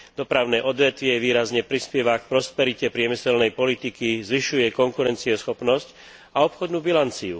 Dopravné odvetvie výrazne prispieva k prosperite priemyselnej politiky, zvyšuje konkurencieschopnosť a obchodnú bilanciu.